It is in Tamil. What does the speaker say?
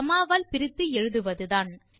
காமா வால் பிரித்து எழுதுவதுதான்